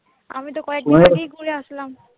আমি তো কয়েকদিন আগেই ঘুরে আসলাম।